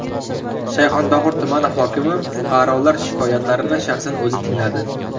Shayxontohur tumani hokimi fuqarolar shikoyatlarini shaxsan o‘zi tingladi .